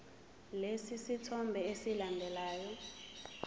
lesi sithombe esilandelayo